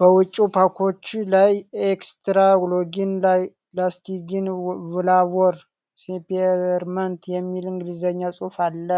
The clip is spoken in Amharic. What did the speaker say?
በውጭው ፓኮች ላይ "ኤክስትራ ሎንግ ላስቲንግ ፍላቮር ስፔርመንት" የሚል እንግሊዝኛ ጽሑፍ አለ።